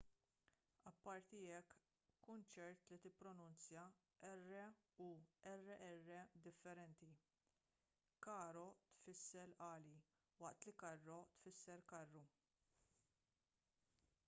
apparti hekk kun ċert li tippronunzja r u rr differenti caro tfisser għali waqt li carro tfisser karru